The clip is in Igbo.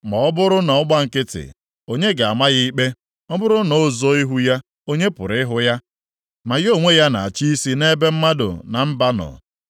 Ma ọ bụrụ na ọ gba nkịtị, onye ga-ama ya ikpe? Ọ bụrụ na o zoo ihu ya, onye pụrụ ịhụ ya? Ma ya onwe ya na-achị isi nʼebe mmadụ na mba nọ,